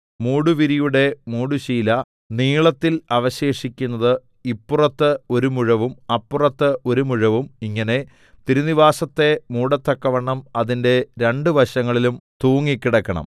മൂടുവിരിയുടെ മൂടുശീല നീളത്തിൽ അവശേഷിക്കുന്നത് ഇപ്പുറത്ത് ഒരു മുഴവും അപ്പുറത്ത് ഒരു മുഴവും ഇങ്ങനെ തിരുനിവാസത്തെ മൂടത്തക്കവണ്ണം അതിന്റെ രണ്ടു വശങ്ങളിലും തൂങ്ങിക്കിടക്കണം